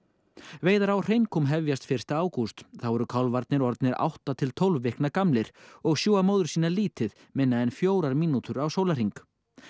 veiðar á hefjast fyrsta ágúst þá eru kálfarnir orðnir átta til tólf vikna gamlir og sjúga móður sína lítið minna en fjórar mínútur á sólarhring